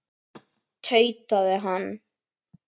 tautaði hann.